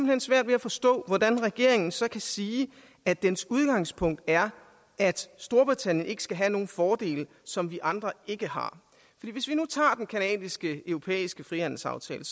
hen svært ved at forstå hvordan regeringen så kan sige at dens udgangspunkt er at storbritannien ikke skal have nogen fordele som vi andre ikke har hvis vi nu tager den canadisk europæiske frihandelsaftale